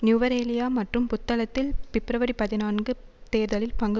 நுவரெலியா மற்றும் புத்தளத்தில் பிப்ரவரி பதினான்கு தேர்தலில் பங்கு